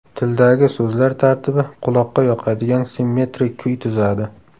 Tildagi so‘zlar tartibi quloqqa yoqadigan simmetrik kuy tuzadi.